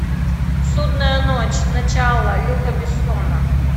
судная ночь начало люка бессона